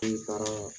N taaraa